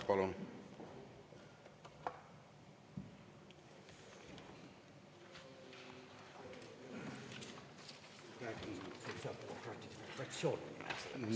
Palun!